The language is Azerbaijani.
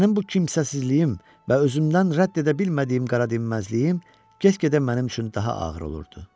Mənim bu kimsəsizliyim və özümdən rədd edə bilmədiyim qara dinməzliyim get-gedə mənim üçün daha ağır olurdu.